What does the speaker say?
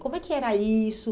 Como é que era isso?